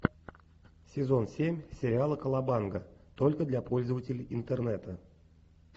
сезон семь сериала колобанга только для пользователей интернета